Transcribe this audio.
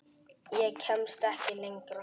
Ég kemst ekki lengra.